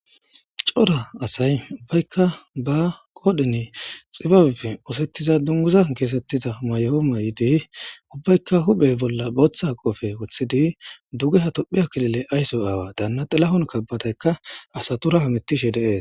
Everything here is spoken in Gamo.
Cora asay ubbaykka ba qoodheni xibabe oosettiza dunguza keesettida mayomayidi ubbaykka huphey bolla bootha qoofe wothidi duge ha tophiyakilile aysso aawa daanna xelahon kabbataykka asaturaha mittishe dees.